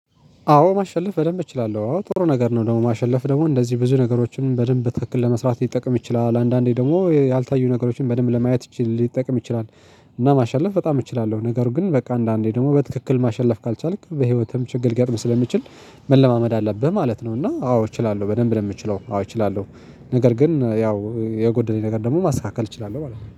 አዎ ማሸለፍ በደንብ እችላለሁ አዎ ጥሩ ነገር ነው ደግሞ ማሸለፍ ደግሞ እንደዚህ ብዙ ነገሮችን በደንብ ትክክል ለመስራት ሊጠቅም ይችላል ለአንዳንዴ ደግሞ ያልታዩ ነገሮችን በደንብ ለማየት ሊጠቅም ይችላል። እና ማሸለፍ በጣም እችላለሁ ነገሩ ግን በቃ አንዳንዴ ደግሞ በትክክል ማሸለፍ ካልቻልክ በህይወትም ችግር ገጥም ስለሚችል። መለማመድ አለብህ ማለት ነው። እና አዎ እችላለሁ በደንብ ነው የምችለው አዎ እችላለሁ። ነገር ግን ያው የጎደለኝ ነገር ደግሞ ማስተካከል እችላለሁ ማለት ነው